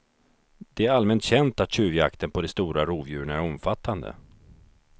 Det är allmänt känt att tjuvjakten på de stora rovdjuren är omfattande.